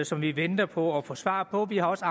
som vi venter på at få svar på vi har også